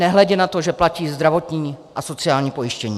Nehledě na to, že platí zdravotní a sociální pojištění.